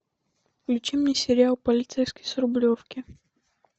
включи мне сериал полицейский с рублевки